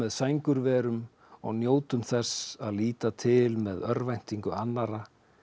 sængurverum og njótum þess að líta til með örvæntingu annarra